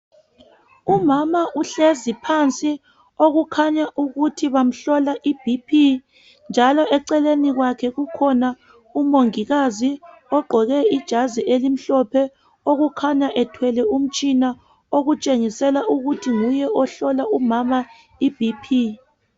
Umama uhlezi phansi okukhanya ukuthi bamhlola iBP njalo eceleni kwakhe kukhona umongikazi ogqoke igazi elimhlophe okukhanya ethwele umtshina okutshengisela ukuthi nguye ohlola umama iBP